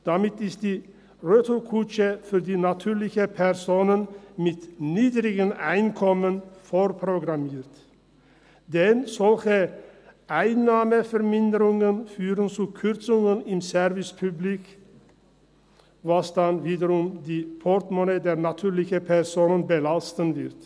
Damit ist die Retourkutsche für die natürlichen Personen mit niedrigem Einkommen vorprogrammiert, denn solche Einnahmeverminderungen führen zu Kürzungen im Service public, was dann wiederum die Portemonnaies der natürlichen Personen belasten wird.